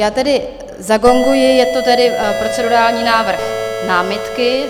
Já tedy zagonguji, je to tedy procedurální návrh námitky.